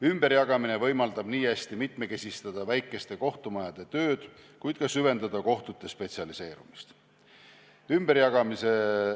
Ümberjagamine võimaldab niihästi mitmekesistada väikeste kohtumajade tööd kui ka süvendada kohtute spetsialiseerumist.